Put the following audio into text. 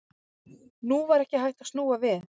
Nú var ekki hægt að snúa við.